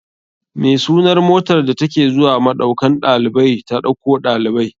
Me sunar motar da take zuwa maɗaukan ɗalibai ta ɗauko ɗalibai?